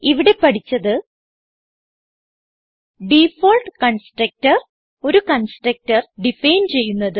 ഇവിടെ പഠിച്ചത് default constructor ഒരു കൺസ്ട്രക്ടർ ഡിഫൈൻ ചെയ്യുന്നത്